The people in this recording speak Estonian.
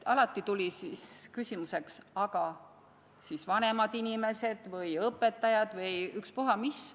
Alati tuli siis küsimusi, et aga vanemad inimesed või õpetajad või ükspuha mis.